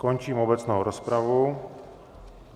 Končím obecnou rozpravu.